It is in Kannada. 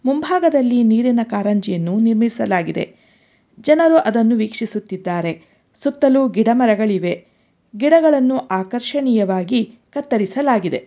ಮುಂಭಾಗದಲ್ಲಿ ನೀರಿನ ಕಾರಂಜಿಯನ್ನು ನಿರ್ಮಿಸಲಾಗಿದೆ ಜನರು ಅದನ್ನು ವೀಕ್ಷಿಸುತ್ತಿದ್ದಾರೆ ಸುತ್ತಲೂ ಗಿಡ ಮರಗಳಿವೆ ಗಿಡಗಳನ್ನು ಆಕರ್ಷಣೆಯವಾಗಿ ಕತ್ತರಿಸಲಾಗಿದೆ.